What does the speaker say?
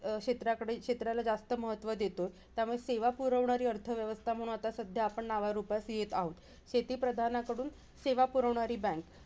अं क्षेत्राकडे क्षेत्राला जास्त महत्व देतो. त्यामुळे सेवा पुरवणारी अर्थव्यवस्था म्हणून सध्या आपण आता नावारूपास येत आहोत. शेतीप्रधानाकडून सेवा पुरवणारी bank